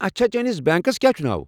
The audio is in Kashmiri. اچھا، چٲنِس بینكس کیٛا چھُ ناو؟